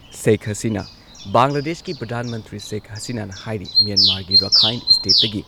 ꯁꯦꯈ ꯍꯁꯤꯅꯥ- ꯕꯪꯒ꯭ꯂꯥꯗꯦꯁꯀꯤ ꯄ꯭ꯔꯙꯥꯟ ꯃꯟꯇ꯭ꯔꯤ ꯁꯦꯈ ꯍꯁꯤꯅꯥꯅ ꯍꯥꯏꯔꯤ‑ ꯃ꯭ꯌꯦꯟꯃꯥꯔꯒꯤ ꯔꯥꯈꯥꯏꯟ ꯁ꯭ꯇꯦꯠꯇꯒꯤ